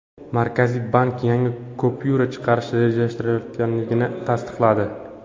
Markaziy bank yangi kupyura chiqarish rejalashtirilayotganligini tasdiqladi.